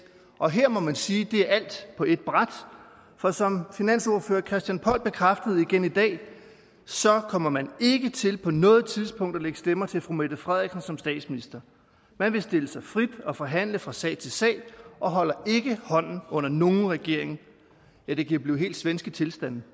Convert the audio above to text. og her må man sige at det er alt på ét bræt for som finansordfører herre christian poll bekræftede igen i dag kommer man ikke til på noget tidspunkt at lægge stemmer til fru mette frederiksen som statsminister man vil stille sig frit og forhandle fra sag til sag og holder ikke hånden under nogen regering ja det kan blive helt svenske tilstande